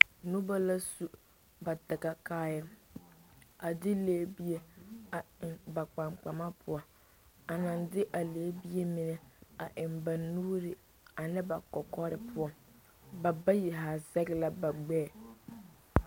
Noba la su ba dagakaaya a de lɛgebie a eŋ ba kpaŋkpama poɔ a la naŋ de a lɛgebie mine eŋ ba nuuri a ne ba kɔkɔre poɔ ba bayi zaa zɛge la ba gbɛɛ.